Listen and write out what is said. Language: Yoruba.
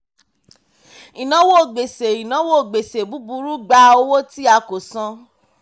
ìnáwó gbèsè ìnáwó gbèsè búburú gba owó tí a kò san.